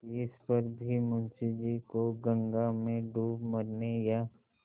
तिस पर भी मुंशी जी को गंगा में डूब मरने या